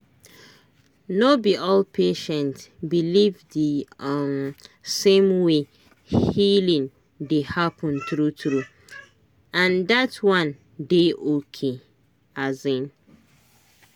no be all patient believe the um same way healing dey happen true true—and that one dey okay. um